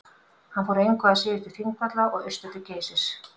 hann fór engu að síður til þingvalla og austur til geysis